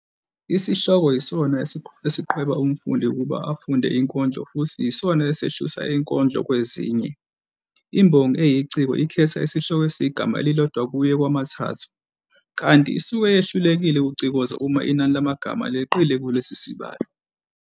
Isihloko yisona esiqhweba umfundi ukuba afunde inkondlo futhi yisona esehlusa inkondlo kwezinye. Imbongi eyiciko ikhetha isihloko esiyigama elilodwa kuye kwamathathu, kanti isuke yehlulekile ukucikoza uma inani lamagama leqile kulesi sibalo.